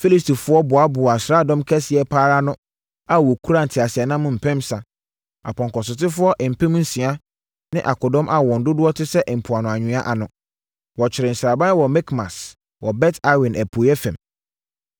Filistifoɔ boaboaa asraadɔm kɛseɛ pa ara ano a wɔkura nteaseɛnam mpensa, apɔnkɔsotefoɔ mpem nsia ne akodɔm a wɔn dodoɔ te sɛ mpoano anwea ano. Wɔkyeree sraban wɔ Mikmas wɔ Bet-Awen apueeɛ fam.